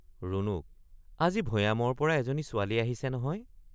ৰুণুক—আজি ভয়ামৰপৰা এজনী ছোৱালী আহিছে নহয়।